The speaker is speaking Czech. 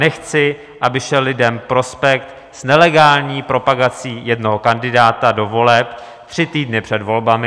Nechci, aby se lidem prospekt s nelegální propagací jednoho kandidáta do voleb tři týdny před volbami.